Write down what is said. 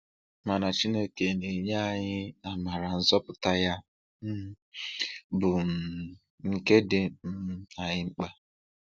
Mana Chineke na-enye anyị amara nzọpụta ya um bụ um nke dị um anyị mkpa.